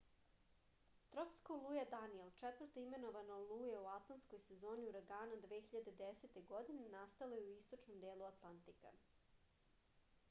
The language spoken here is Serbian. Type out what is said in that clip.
tropska oluja danijel četvrta imenovana oluja u atlantskoj sezoni uragana 2010. godine nastala je u istočnom delu atlantika